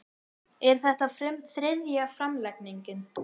Er þetta þriðja framlengingin